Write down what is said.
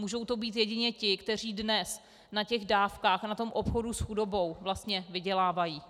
Můžou to být jedině ti, kteří dnes na těch dávkách a na tom obchodu s chudobou vlastně vydělávají.